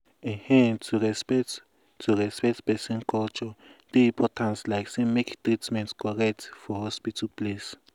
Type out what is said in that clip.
ehn to respect to respect person culture dey important like say make treatment correct for hospital place.